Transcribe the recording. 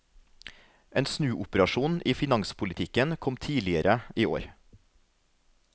En snuoperasjon i finanspolitikken kom tidligere i år.